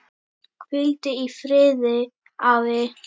Hvíldu í friði, afi.